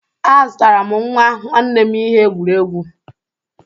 Azụtara m nwa nwanne m ihe egwuregwu.